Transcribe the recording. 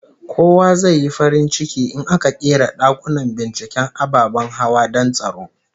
Kowa zai yi farin ciki in aka ƙera dakunan binciken ababen hawa don tsaro